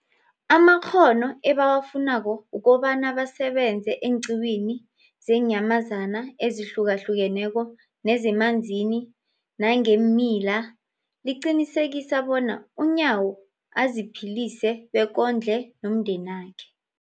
amakghono ebawafunako ukobana basebenze eenqiwini zeenyamazana ezihlukahlukeneko nezemanzini nangeemila, liqinisekisa bona uNyawo aziphilise bekondle nomndenakhe.